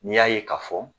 N'i y'a ye k'a fɔ